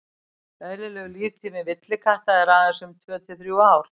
eðlilegur líftími villikatta er aðeins um tvö til þrjú ár